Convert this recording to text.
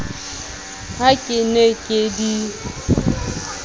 ha ke ne ke di